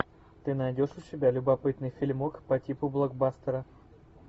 ты найдешь у себя любопытный фильмок по типу блокбастера